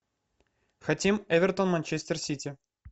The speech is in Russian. хотим эвертон манчестер сити